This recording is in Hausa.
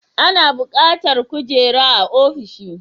Ana bukatar kujera a ofishi